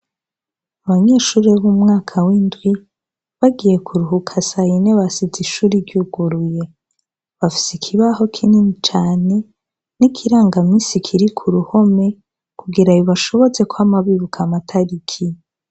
Abanyeshuri b'umwaka w'indwi bagiye kuruhuka sayine basize ishure ryuguruye, bafise ikibaho kinini cane nikiranga minsi k'uruhome kugirango bibafashe kwama bibuka amatariki.